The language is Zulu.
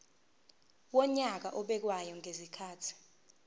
wonyaka obekwayo ngezikhathi